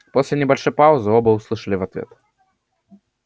после небольшой паузы оба услышали в ответ